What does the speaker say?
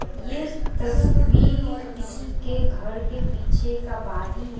ये तस्वीर किसी के घर के पीछे का बागी है।